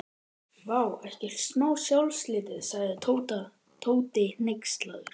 Vá, ekkert smá sjálfsálit sagði Tóti hneykslaður.